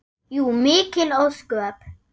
Jú, mikil ósköp.